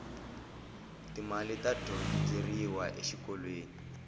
ti mali ta dyondzeriwa exikolweni